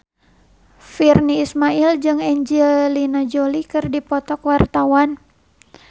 Virnie Ismail jeung Angelina Jolie keur dipoto ku wartawan